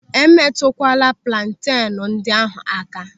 E metụkwala plantenu ndị ahụ aka!